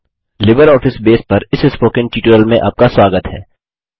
LibreOffice Base पर इस spoken tutorial में आपका स्वागत है